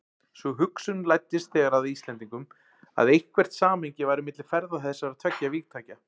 Sú hugsun læddist þegar að Íslendingum, að eitthvert samhengi væri milli ferða þessara tveggja vígtækja.